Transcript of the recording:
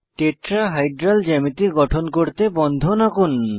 tetrahedral জ্যামিতি গঠন করতে বন্ধন আঁকুন